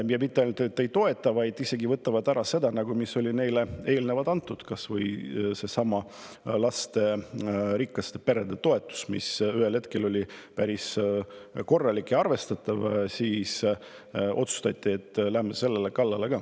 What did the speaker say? Ja mitte ainult et ei toeta, vaid isegi võtavad ära selle, mis oli neile eelnevalt antud, kas või seesama lasterikaste perede toetus, mis ühel hetkel oli päris korralik ja arvestatav, aga siis otsustati, et minnakse ka selle kallale.